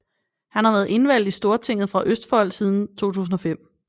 Han har været indvalgt i Stortinget fra Østfold siden 2005